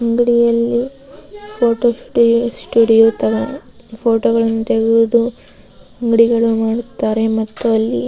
ಅಂಗಡಿಯಲ್ಲಿ photo studio ತರ ಫೋಟೋಗಳನ್ನು ತೆಗೆದು ಅಂಗಡಿಗಳು ಮಾಡುತ್ತಾರೆ ಮತ್ತು ಅಲ್ಲಿ --